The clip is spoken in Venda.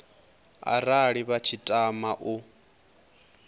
arali vha tshi tama u